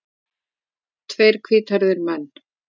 Tveir hvíthærðir menn.